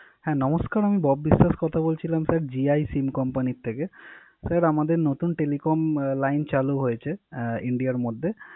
হ্যা নমস্কর আমি বব বিশ্বাস কথা বলছিলাম জিআই সিম কোম্পানি থেকে। স্যার আমাদের নতুন টেলিফোন লাইন চালু হয়েছে ইন্ডিয়ার মধ্যে।